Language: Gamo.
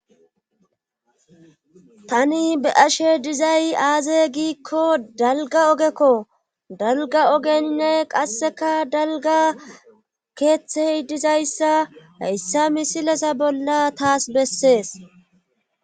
tani be'ashe dizay aaze giikko dalga ogekko dalga ogenne qasseka dalga keeththey dizayssa hayssa misilesa bolla taas bessees